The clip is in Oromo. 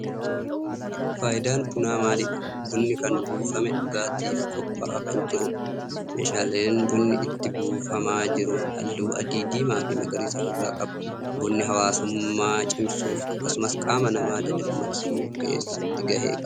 Faayidaan bunaa maalidha? Bunni kun buufamee dhugaatif qopha'aa kan jirudha. Meeshaan bunni itti buufamaa jiru halluu adii, diimaa fi magariisa of irraa qaba. Bunni hawaasummaa cimsuuf akkasumas qaama nama dadammaksuu keessatti gahee qaba.